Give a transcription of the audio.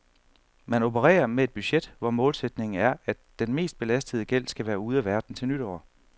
Man opererer med et budget, hvor målsætningen er, at den mest belastende gæld skal være ude af verden til nytår.